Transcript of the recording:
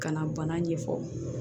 Ka na bana ɲɛfɔ